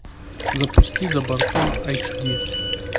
запусти за бортом айч ди